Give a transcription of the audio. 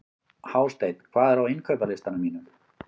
Hásteinn, hvað er á innkaupalistanum mínum?